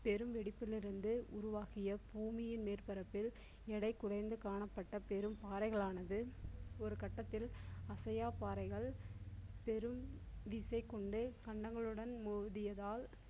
பெரும் வெடிப்பிலிருந்து உருவாகிய பூமியின் மேற்பரப்பில் எடை குறைந்து காணப்பட்ட பெரும் பாறைகளானது ஒரு கட்டத்தில் அசையா பாறைகள் பெரும் விசை கொண்டே கண்டங்களுடன் மோதியதால்